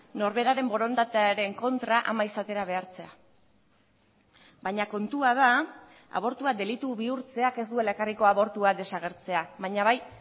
norberaren borondatearen kontra ama izatera behartzea baina kontua da abortua delitu bihurtzeak ez duela ekarriko abortua desagertzea baina bai